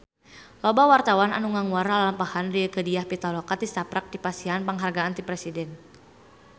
Loba wartawan anu ngaguar lalampahan Rieke Diah Pitaloka tisaprak dipasihan panghargaan ti Presiden